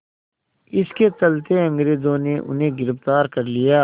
इसके चलते अंग्रेज़ों ने उन्हें गिरफ़्तार कर लिया